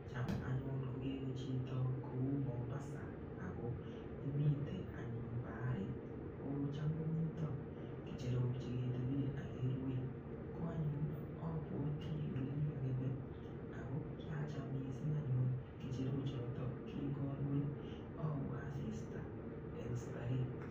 Cham anyun ngokewe chito kou Mombasa, ako imitei anyun baharit, kocham komitoi keecherok che ketebe akerue. Ko anyun, abwoti ole kikakibe, ako kiacham missing anyun kecherok chotok. Kingarue, aue asista eng starehe.